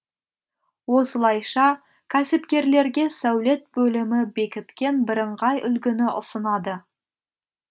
осылайша кәсіпкерлерге сәулет бөлімі бекіткен бірыңғай үлгіні ұсынады